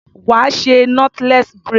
Wá ṣe knotless braid.